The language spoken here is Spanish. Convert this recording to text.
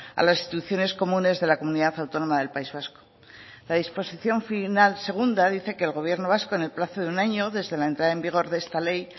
a las instituciones comunes de la comunidad autónoma del país vasco la disposición final segunda dice que el gobierno vasco en el plazo de un año desde la entrada en vigor de esta ley